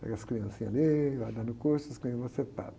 Pega as criancinhas ali, vai dando curso, as criancinhas vão ser padre.